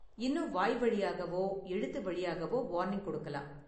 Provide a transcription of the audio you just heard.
இன்னும் வாய்வழியாகவோ எழுத்து வழியாகவோ வார்னிங் கொடுக்கலாம்.